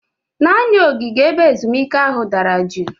Naanị ogige ebe ezumike ahụ dara juu